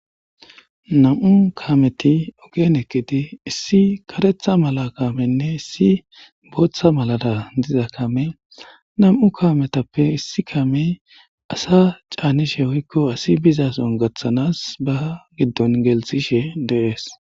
nam'u kaameti ogen ekketi issi karetha mala kaamenne issi booththa malada diza kame namu'u kaametappe issi kaamey asa caanishe woykko asi bizason gaththanas ba giddon gelsishe deees